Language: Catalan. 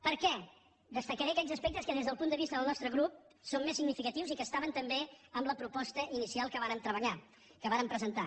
per què destacaré aquells aspectes que des del punt de vista del nostre grup són més significatius i que estaven també en la proposta inicial que vàrem treballar que vàrem presentar